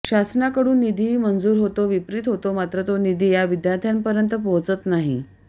शासनाकडून निधीही मंजूर होतो वितरित होतो मात्र तो निधी या विद्यार्थ्यांपर्यन्त पोहचतच नाही